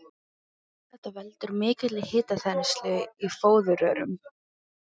Þetta veldur mikilli hitaþenslu í fóðurrörum.